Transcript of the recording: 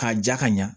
K'a ja ka ɲa